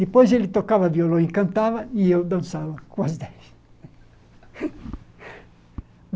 Depois ele tocava violão e cantava, e eu dançava com as dez.